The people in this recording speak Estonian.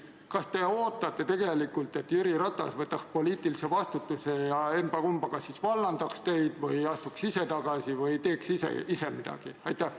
Kas te ootate tegelikult, et Jüri Ratas võtaks poliitilise vastutuse ja kas siis vallandaks teid või astuks ise tagasi või teeks ise midagi?